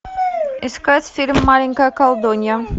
искать фильм маленькая колдунья